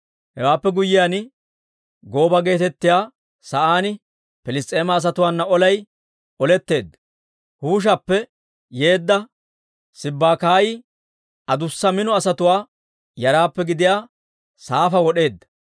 Hewaappe guyyiyaan, Gooba geetettiyaa sa'aan Piliss's'eema asatuwaana olay oletteedda; Huushappe yeedda Sibbakaayi adussa mino asatuwaa yaraappe gidiyaa Saafa wod'd'eedda.